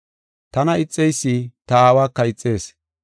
Tana ixeysi ta Aawaka ixees.